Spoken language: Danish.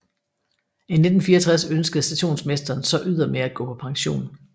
I 1964 ønskede stationsmesteren så ydermere at gå på pension